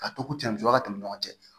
Ka to ko cɛ ka tɛmɛ ɲɔgɔn cɛ